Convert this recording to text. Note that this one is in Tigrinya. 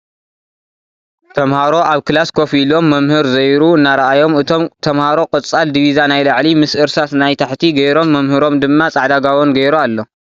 ተምሃሮ ኣብ ክላስ ኮፍ ኢሎም መምህር ዘይሩ እናረኣዮም እቶም ተምሃሮ ቆፃል ድቪዛ ናይ ላዕሊ ምሰ እርሳስ ናይ ታሕቲ ገይሮም መምህሮም ድማ ፃዕዳ ጋቦን ጌሩ ኣሎ።